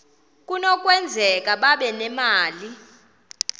kunokwenzeka babe nemali